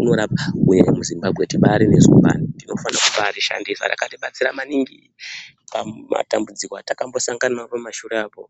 inorapa. MuZimbabwe tibaari nezumbani, tinobaari shandisa, rakabaatibatsira maningi pamatambudziko atakambosangana naro pamashure apo.